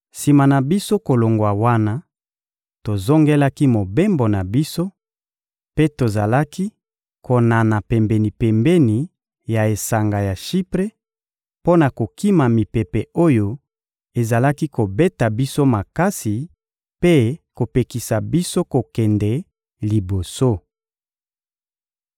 Sima na biso kolongwa wana, tozongelaki mobembo na biso mpe tozalaki konana pembeni-pembeni ya esanga ya Shipre, mpo na kokima mipepe oyo ezalaki kobeta biso makasi mpe kopekisa biso kokende liboso.